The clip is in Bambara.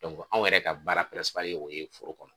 anw yɛrɛ ka baara ye o ye foro kɔnɔ.